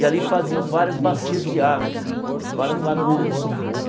E ali faziam várias bacias de água assim, várias lagoas.